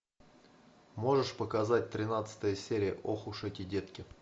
можешь показать тринадцатая серия ох уж эти детки